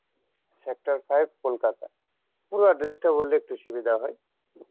sector five Kolkata পুরো address টা বললে একটু সুবিধা হয়